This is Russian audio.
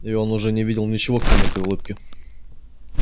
и он уже не видел ничего кроме этой улыбки